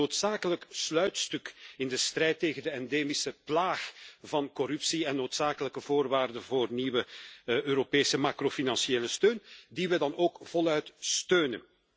Dit is het noodzakelijke sluitstuk in de strijd tegen de endemische plaag van corruptie en een noodzakelijke voorwaarde voor nieuwe Europese macrofinanciële bijstand, die we dan ook voluit steunen.